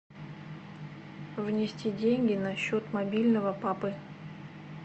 внести деньги на счет мобильного папы